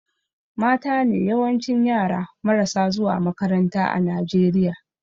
Matane yawancin yara marasa zuwa makaranta a Najeriya